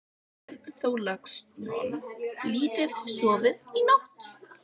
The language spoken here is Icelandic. Björn Þorláksson: Lítið sofið í nótt?